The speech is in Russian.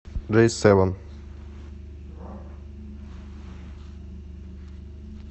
джей севен